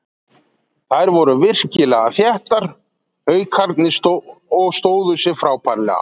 Þær voru virkilega þéttar Haukarnir og stóðu sig frábærlega.